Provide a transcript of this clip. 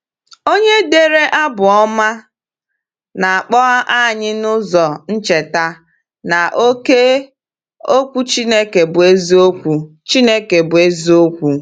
Onye dere Abụ Ọma na-akpọ anyị n’ụzọ ncheta na ‘oke Okwu Chineke bụ eziokwu.’ Chineke bụ eziokwu.’